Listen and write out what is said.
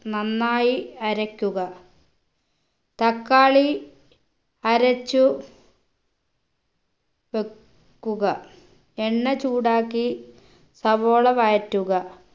നന്നായി അരക്കുക തക്കാളി അരച്ചു വെക്കുക എണ്ണ ചൂടാക്കി സവോള വഴറ്റുക